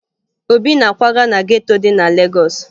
Obi na-akwaga na geto dị na Legọọsụ